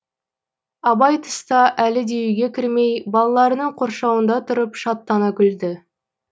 абай тыста әлі де үйге кірмей балаларының қоршауында тұрып шаттана күлді